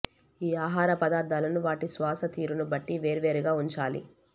ఈ ఆహార పదార్థాలను వాటి శ్వాస తీరును బట్టి వేర్వేరుగా ఉంచాలి